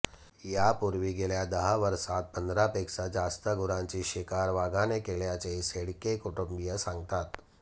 यापूर्वी गेल्या दहा वर्षांत पंधरापेक्षा जास्त गुरांची शिकार वाघाने केल्याचे शेळके कुटुंबीय सांगतात